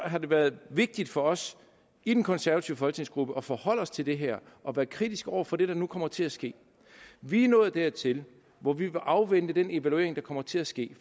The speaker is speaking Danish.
har det været vigtigt for os i den konservative folketingsgruppe at forholde os til det her og være kritisk over for det der nu kommer til at ske vi er nået dertil hvor vi afventer den evaluering der kommer til at ske